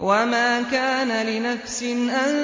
وَمَا كَانَ لِنَفْسٍ أَن